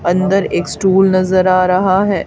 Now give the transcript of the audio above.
अंदर एक स्टुल नजर आ रहा है।